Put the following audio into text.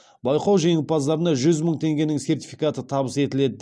байқау жеңімпаздарына жүз мың теңгенің сертификаты табыс етіледі